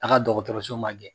A' ka dɔgɔtɔrɔso magɛn.